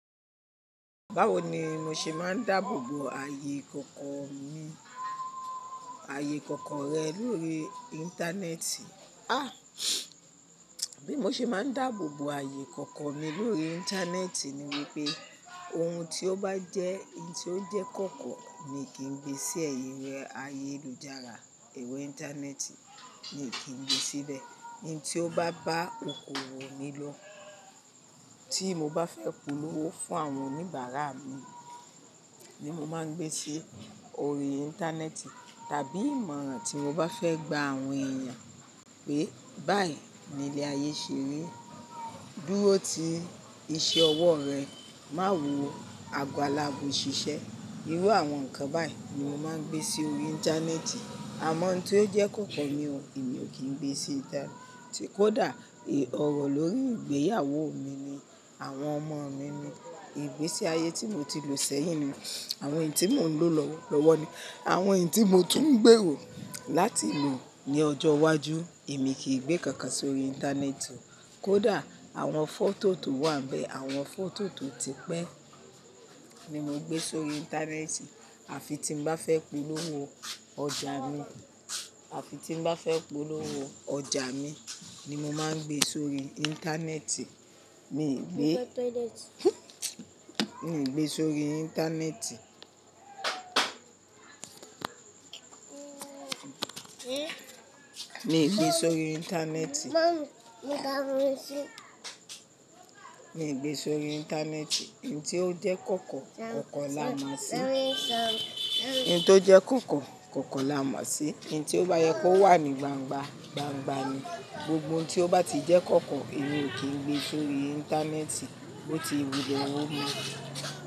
Báwo ni mo ṣe máa ń dáàbòbo ààyè ikoko rẹ lórí Íńtánẹ́ẹ̀tì? Bí mo ṣe máa ń dáàbòbo ààyè ikoko mi lórí Íńtánẹ́ẹ̀tì ni wípé ohun tó bá jẹ́ kíì tí ó jẹ́ ikoko mi kí n gbe sí ẹ̀yìn rẹ ayélujára. Ẹ̀rọ Íńtánẹ́ẹ̀tì mi kí n gbe síbẹ̀. Ohun tí ó bá bá okoòwò mi lọ tí mo bá fẹ́ polówó fún àwọn oníbàárà mi ni mo máa ń gbé sí orí Íńtánẹ́ẹ̀tì tàbí ìmọ̀ràn tí mo bá fẹ́ gba àwọn èèyàn pé báyìí ni ilẹ̀ ayé ṣe rí, dúró tí iṣẹ́ ọwọ́ rẹ, má wọ àgọ̀ alágbọ̀ ṣiṣẹ́. Irú àwọn nǹkan báyìí ni mo máa ń gbé sí orí Íńtánẹ́ẹ̀tì. Àmọ́ ohun tí ó jẹ́ ikoko mi ò kí n gbé sí ìnta. Tí kò dà, èè ọ̀rọ̀ lórí ìgbéyàwó mi ni, àwọn ọmọ mi ni, ìgbésí ayé tí mo ti lò sẹ́yìn ni, àwọn èyí tí mò ń lò lọ́wọ́ lọ́wọ́ ni, àwọn èyí tí mo tún ń gbèrò láti lò ní ọjọ́ iwájú, èmi kì í gbé kankan sórí Íńtánẹ́ẹ̀tì. Kódà àwọn fọ́tò tó wà níbẹ̀, àwọn fọ́tò tó ti pẹ́ ni mo gbé sórí Íńtánẹ́ẹ̀tì àfi tí n bá fẹ́ polówó ọjà mi, àfi tí n bá fẹ́ polówó ọjà mi ni mo máa ń gbé sórí Íńtánẹ́ẹ̀tì. Mi ò gbé sórí Íńtánẹ́ẹ̀tì. Mi ò gbé sórí Íńtánẹ́ẹ̀tì. Nǹ tí ó jẹ́ ikoko, ikoko lamo sí i. Nǹ tí ó bá yẹ kó wà ní gbangba, gbangba ni. Gbogbo ohun tí ó bá ti jẹ́ ikoko èmi ò kí n gbé sórí Íńtánẹ́ẹ̀tì bó ti wúre ọwọ́ mú.